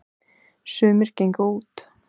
sumir gengu út